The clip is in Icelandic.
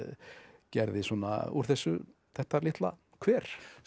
gerði svona úr þessu þetta litla kver